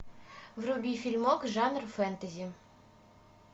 вруби фильмок жанр фэнтези